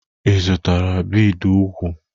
Ị zụtara bidi úkwù?